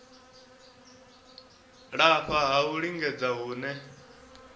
lafha ha u lingedza hune